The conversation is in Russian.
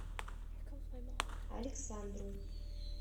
александру